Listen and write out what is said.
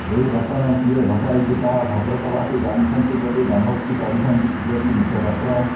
ଏ ଘଟଣା କିଏ ଘଟାଇଛି ତାହା ଭଦ୍ରକବାସୀ ଜାଣିଛନ୍ତି ବୋଲି ଦମ୍ଭୋକ୍ତି କରିଛନ୍ତି ବିଜେପି ମୁଖପାତ୍ର